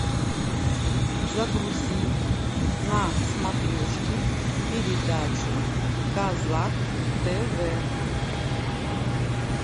загрузи на смотрешке передачу казак тв